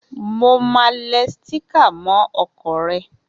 Mo máa le sticker mó okò re